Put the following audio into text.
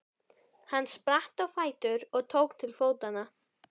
Hann spratt á fætur og tók til fótanna.